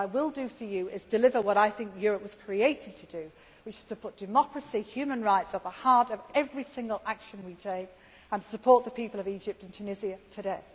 do that. What I will do for you is deliver what I think Europe was created to do, which is to put democracy and human rights at the heart of every single action we take and support the people of Egypt and Tunisia today.